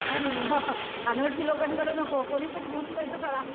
अरे वा अनोळखी लोकांकडे नको कोणीपण घेऊन जायचं त्याला.